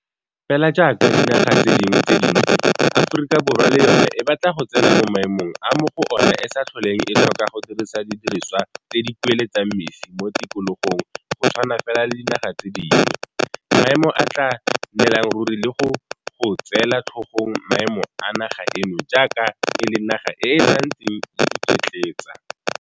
Fela jaaka dinaga tse dingwe tse dintsi, Aforika Borwa le yona e batla go tsena mo maemong a mo go ona e sa tlholeng e tlhoka go dirisa di diriswa tse di kueletsang mesi mo tikologong go tshwana fela le dinaga tse dingwe, maemo a a tla nnelang ruri le go go tseela tlhogong maemo a naga eno jaaka e le naga e e santseng e iketletsa.